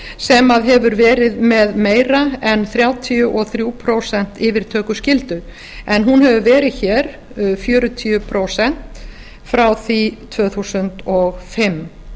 sem hefur verið með meira en þrjátíu og þrjú prósent yfirtökuskyldu en hún hefur verið hér fjörutíu prósent frá því tvö þúsund og fimm